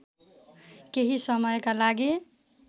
केही समयका लागि